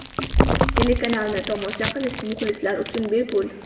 Telekanalni tomosha qilish muxlislar uchun bepul.